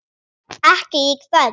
Ekki í kvöld.